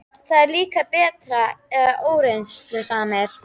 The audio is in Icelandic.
Það er líka bert að óreiðusamir